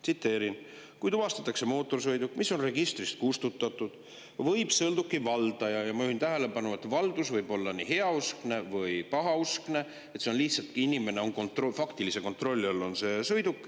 Tsiteerin: "Kui tuvastatakse mootorsõiduk, mis on registrist kustutatud, võib sõiduki valdaja [Ma juhin tähelepanu, et valdus võib olla nii heauskne kui ka pahauskne, lihtsalt faktilise kontrolli all on see sõiduk.